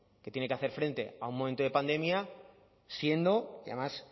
que tiene que hacer frente a un momento de pandemia siendo y además